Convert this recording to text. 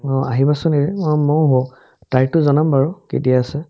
অ, আহিবাচোন এদিন মই মৌ তাৰিখটো জনাম বাৰু কেতিয়া আছে ?